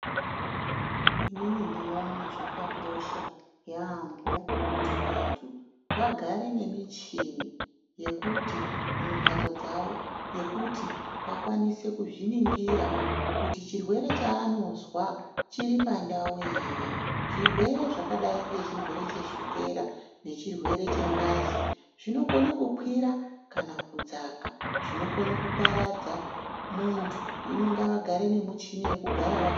Ini ndimboona zvakakosha yampho kuti vantu vagare nemichini yekuti mumhatso dzawo yekuti vakwanise kuzviningira kuti chirwere chaanonzwa chiri pandau hre zvirwere zvakadai nechirwere chesukera nechirwere chengazi zvinokona kukwira kana kudzaka zvokona kuparadza muntu hino ngavagare nemuchini wekugara.